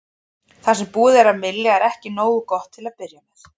Það sem búið er að mylja er ekki nóg til að byrja með.